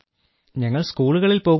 ഞങ്ങൾ സ്കൂളുകളിൽ പോകുന്നു